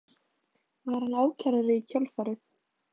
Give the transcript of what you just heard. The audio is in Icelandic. Var hann ákærður í kjölfarið